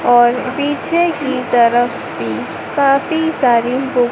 और पीछे की तरफ भी काफी सारी बुक --